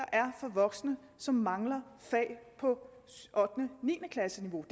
voksne som mangler fag på ottende og niende klasses niveau